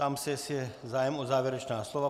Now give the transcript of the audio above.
Ptám se, jestli je zájem o závěrečná slova.